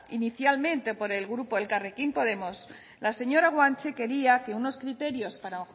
inicialmente por el grupo elkarrekin podemos la señora guanche quería que unos criterios para